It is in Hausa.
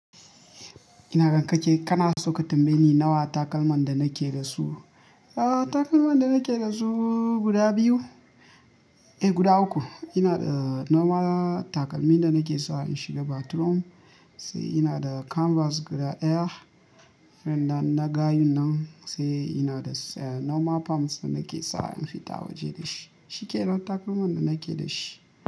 Inaga kana so ka tambaye ni nawa takalman da nake da su? Aa, takalman da nake da su guda biyu, eh guda uku. Ina da normal takalmi da nake sawa in shiga bathroom, sai ina da canvas guda ɗaya, irin dan na gayun nan, sai ina da normal palms nake sawa in fita waje da shi. Shikelan takalman da nake dashi.